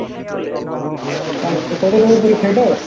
তা কত number এর পরীক্ষা এটো ?